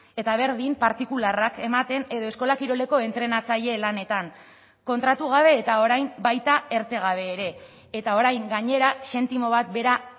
eta berdin partikularrak ematen edo eskola kiroleko entrenatzaile lanetan kontratu gabe eta orain baita erte gabe ere eta orain gainera zentimo bat bera